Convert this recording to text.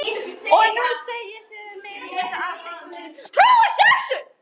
Og nú segið þið að meiri hluti Alþingis trúi þessu.